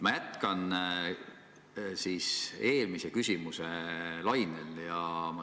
Ma jätkan eelmise küsimuse lainel.